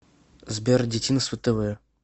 сбер дитинство тэ вэ